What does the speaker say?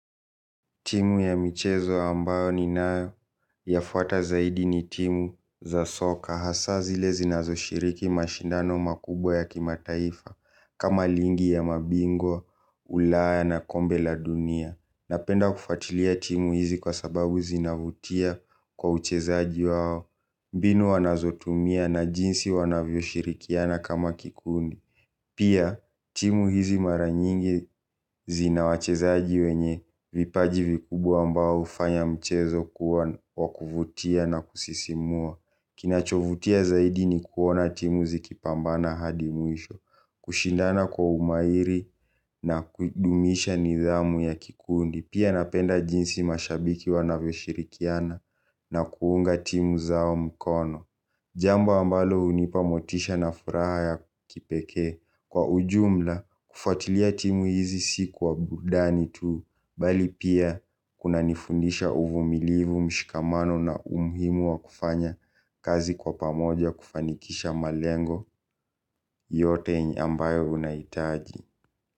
Timu ya michezo ambayo ninayo yafuata zaidi ni timu za soka hasa zile zinazoshiriki mashindano makubwa ya kimataifa kama lingi ya mabingwa, ulaya na kombe la dunia. Napenda kufuatilia timu hizi kwa sababu zinavutia kwa uchezaji wao, mbinu wanazotumia na jinsi wanavyoshirikiana kama kikundi. Pia, timu hizi mara nyingi zina wachezaji wenye vipaji vikubwa ambao hufanya mchezo kuwa wa kuvutia na kusisimua. Kinachovutia zaidi ni kuona timu zikipambana hadi mwisho, kushindana kwa umahiri na kudumisha nidhamu ya kikundi. Pia napenda jinsi mashabiki wanavyoshirikiana na kuunga timu zao mkono. Jambo ambalo hunipa motisha na furaha ya kipekee. Kwa ujumla, kufuatilia timu hizi si kw aburudani tu bali pia kunanifundisha uvumilivu, mshikamano na umuhimu wa kufanya kazi kwa pamoja kufanikisha malengo yote ambayo unahitaji.